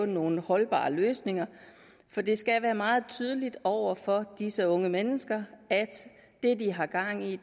nogle holdbare løsninger for det skal være meget tydeligt over for disse unge mennesker at det de har gang i